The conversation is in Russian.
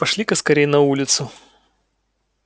пошли-ка скорей на улицу